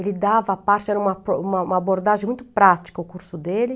Ele dava a parte, era uma uma uma abordagem muito prática o curso dele.